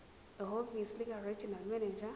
ehhovisi likaregional manager